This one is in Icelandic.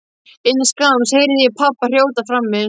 Innan skamms heyrði ég pabba hrjóta frammi.